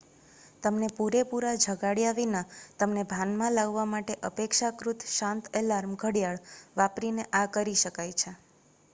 તમને પૂરેપૂરા જગાડ્યા વિના તમને ભાનમાં લાવવા માટે અપેક્ષાકૃત શાંત અલાર્મ ઘડિયાળ વાપરીને આ કરી શકાય છે